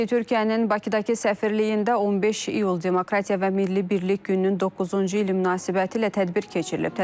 Türkiyənin Bakıdakı səfirliyində 15 iyul Demokratiya və Milli Birlik gününün 9-cu ili münasibətilə tədbir keçirilib.